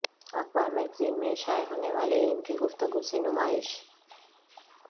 اخبار میگزین میں شائع ہونے والے ان کی گفتگو سے نمائش